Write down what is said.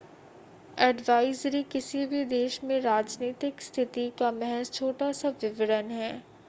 advisory किसी भी देश में राजनीतिक स्थिति का महज़ छोटा-सा विवरण है